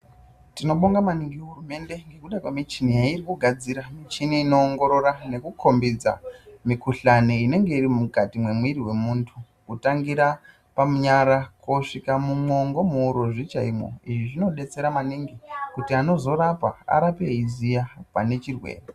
Tinobonga maningi hurumende ndekuda kwemichini yairikugadzira. Michini inowongorora nekukombidza mikhuhlane inenge iri mukati mwemiri wemuntu kutangira panyara kosvika mumwongo muurozvi chaimwo. Izvi zvinodetsera maningi antu anorapa arape eyiziya chirwere